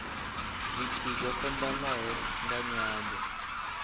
zwithu zwo fhambanaho nga nyambo